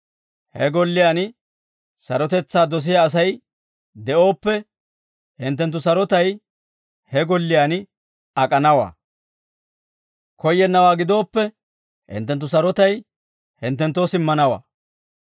He golliyaan sarotetsaa dosiyaa Asay de'ooppe, hinttenttu sarotay he golliyaan ak'anawaa; koyyennawaa gidooppe, hinttenttu sarotay hinttenttoo simmanawaa.